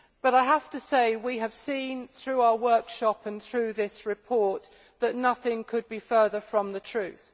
I have to say we have seen, through our workshop and through this report, that nothing could be further from the truth.